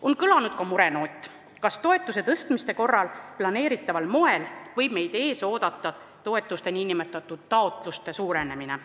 On kõlanud ka murenoot, kas toetuse tõstmise korral planeeritaval moel võib meid ees oodata toetuste nn taotluste suurenemine.